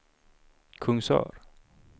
Kungsör